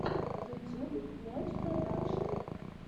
ютюб мяч продакшен